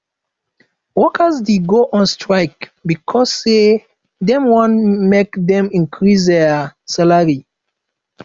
workers de go on strike becauae say dem want make dem increase their salary